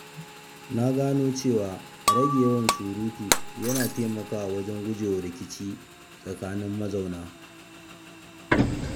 Na gano cewa rage yawan surutu yana taimakawa wajen gujewa rikici tsakanin mazauna.